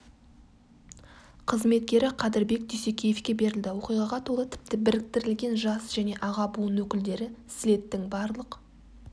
қызметкері қадырбек дюсекеевке берілді оқиғаға толы тіпті біріктірілген жас және аға буын өкілдері слеттің барлық